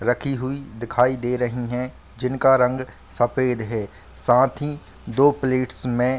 रखी हुई दिखाई दे रही है जिनका रंग सफ़ेद है साथ ही दो प्लेट्स में --